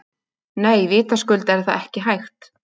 Nei, vitaskuld er það ekki hægt.